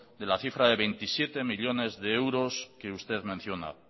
de la cifra de veintisiete millónes de euros que usted menciona